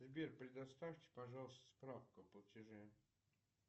сбер предоставьте пожалуйста справку о платеже